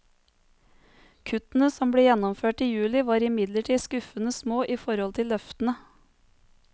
Kuttene som ble gjennomført i juli var imidlertid skuffende små i forhold til løftene.